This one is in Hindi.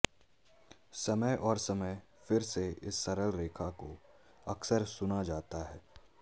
समय और समय फिर से इस सरल रेखा को अक्सर सुना जाता है